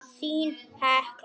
Þín, Hekla.